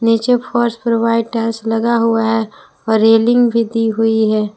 नीचे फर्श पर वाइट टाइल्स लगा हुआ है और रेलिंग भी दी हुई है।